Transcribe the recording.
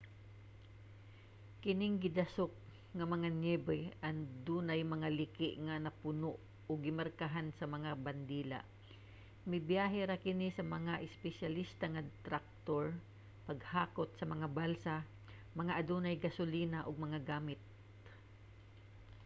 kining gidasok nga mga niyebe adunay mga liki nga napuno ug gimarkahan sa mga bandila. mabiyahe ra kini sa mga espesyalista nga traktor paghakot sa mga balsa nga adunay gasolina ug mga gamit